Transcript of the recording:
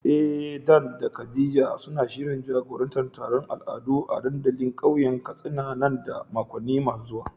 Eh Dan da Khadija suna da shirin jagorantar taron al'adu a dandalin kauyen Katsina nan da makonni masu zuwa